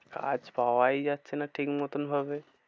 কাজ পাওয়াই যাচ্ছে না ঠিক মতন ভাবে।